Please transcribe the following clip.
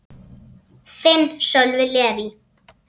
Þinn, Sölvi Leví.